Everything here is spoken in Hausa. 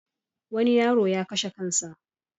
Wani yaro ya kashe kan sa.